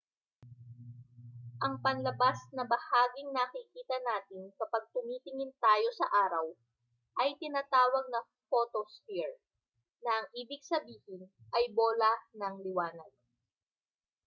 ang panlabas na bahaging nakikita natin kapag tumitingin tayo sa araw ay tinatawag na photosphere na ang ibig sabihin ay bola ng liwanag